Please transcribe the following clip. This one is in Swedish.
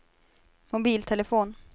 mobiltelefon